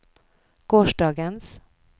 gårsdagens